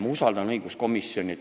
Ma usaldan õiguskomisjoni.